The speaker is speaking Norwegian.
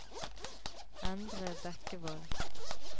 Endre Bekkevold